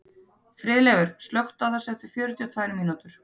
Friðleifur, slökktu á þessu eftir fjörutíu og tvær mínútur.